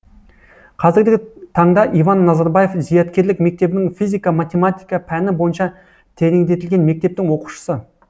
қазіргі таңда иван назарбаев зияткерлік мектебінің физика математика пәні бойынша тереңдетілген мектептің оқушысы